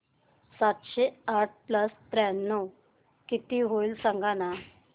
सातशे आठ प्लस त्र्याण्णव किती होईल सांगना